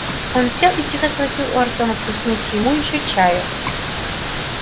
он сел и тихо спросил у артёма плеснуть ему ещё чая